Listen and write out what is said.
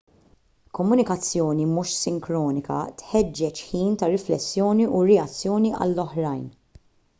komunikazzjoni mhux sinkronika tħeġġeġ ħin ta' riflessjoni u reazzjoni għall-oħrajn